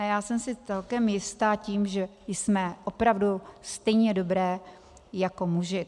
A já jsem si celkem jistá tím, že jsme opravdu stejně dobré jako muži.